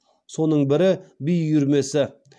соның бірі би үйірмесі